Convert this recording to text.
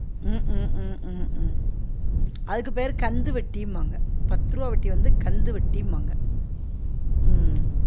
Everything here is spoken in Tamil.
உம் உம் உம் உம் உம் அதுக்கு பேரு கந்து வட்டிம்பாங்க பத்து ருவா வட்டிய வந்து கந்து வட்டிம்பாங்க உம்